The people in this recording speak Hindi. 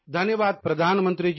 धन्यवाद प्रधानमंत्री जी